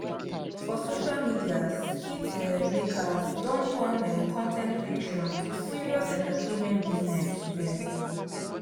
for social media skit um makers don turn um con ten t creation to serious entertainment business. um